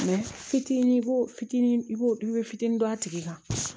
fitinin i b'o fitinin i b'o i bɛ fitinin don a tigi kan